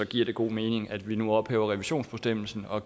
giver det god mening at vi nu ophæver revisionsbestemmelsen og